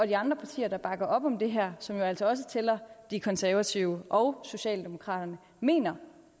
de andre partier der bakker op om det her som jo altså også tæller de konservative og socialdemokraterne mener